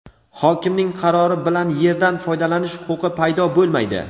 "Hokimning qarori bilan yerdan foydalanish huquqi paydo bo‘lmaydi".